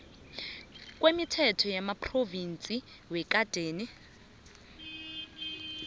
kwemithetho yamaphrovinsi yekadeni